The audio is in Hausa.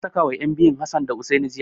An sakawa ƴan biyun Hassan da Hussaini jiya.